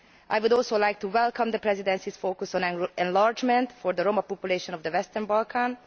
I would also like to welcome the Presidency's focus on enlargement for the Roma population of the Western Balkans.